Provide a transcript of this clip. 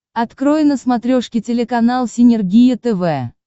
открой на смотрешке телеканал синергия тв